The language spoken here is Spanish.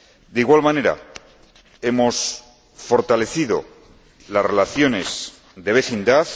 De igual manera hemos fortalecido las relaciones de vecindad.